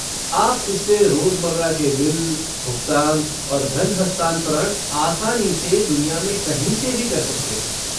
आप इससे रोजमर्रा के बिल, भुगतान और धन हस्तांतरण आसानी से दुनिया में कहीं से भी कर सकते हैं।